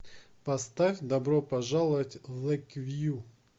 поставь добро пожаловать в лэйквью